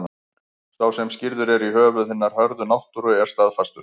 Sá sem skírður er í höfuð hinnar hörðu náttúru er staðfastur.